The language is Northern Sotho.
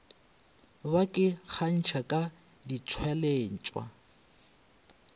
ba ke kgantšha ka ditšweletšwa